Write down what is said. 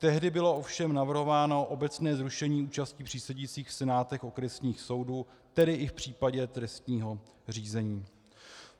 Tehdy bylo ovšem navrhováno obecné zrušení účasti přísedících v senátech okresních soudů, tedy i v případě trestního řízení.